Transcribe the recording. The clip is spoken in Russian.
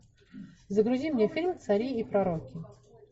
загрузи мне фильм цари и пророки